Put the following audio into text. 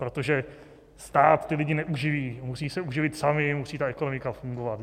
Protože stát ty lidi neuživí, musí se uživit sami, musí ta ekonomika fungovat.